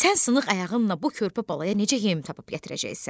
Sən sınıq ayağınla bu körpə balaya necə yem tapıb gətirəcəksən?